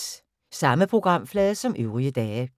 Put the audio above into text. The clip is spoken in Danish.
Samme programflade som øvrige dage